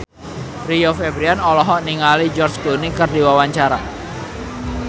Rio Febrian olohok ningali George Clooney keur diwawancara